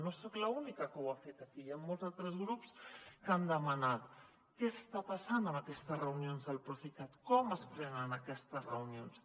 no soc l’única que ho ha fet aquí hi han molts altres grups que han demanat què està passant amb aquestes reunions el procicat com es prenen aquestes reunions